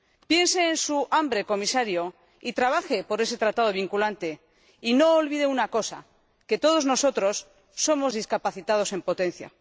Piense en su hambre, Comisario, y trabaje por ese tratado vinculante, pero no olvide una cosa que todos nosotros somos discapacitados en potencia.